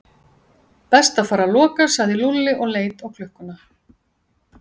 Best að fara að loka sagði Lúlli og leit á klukkuna.